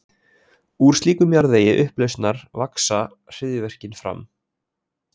Úr slíkum jarðvegi upplausnar vaxa hryðjuverkin fram.